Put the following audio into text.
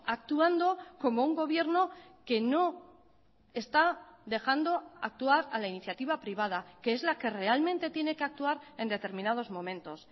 actuando como un gobierno que no está dejando actuar a la iniciativa privada que es la que realmente tiene que actuar en determinados momentos